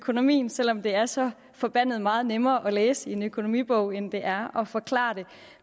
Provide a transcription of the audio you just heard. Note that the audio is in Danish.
økonomien selv om det er så forbandet meget nemmere at læse i en økonomibog end det er at forklare det